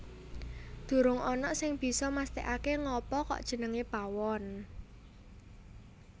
Durung ana sing bisa mesthekake ngapa kok jenengé Pawon